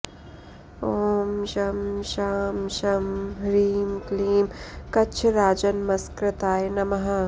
ॐ शं शां षं ह्रीं क्लीं कच्छराजनमस्कृताय नमः